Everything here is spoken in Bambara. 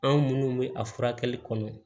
Anw munnu bɛ a furakɛli kɔnɔ